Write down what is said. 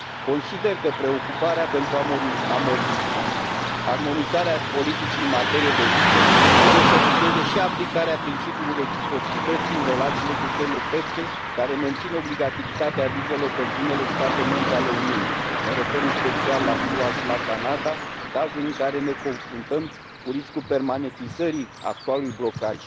Consider că preocuparea pentru armonizarea politicii în materie de vize trebuie să vizeze și aplicarea principiului reciprocității în relațiile cu țările terțe care mențin obligativitatea vizelor pentru unele state membre ale Uniunii, mă refer în special la SUA și la Canada, cazuri în care ne confruntăm cu riscul permanentizării actualului blocaj.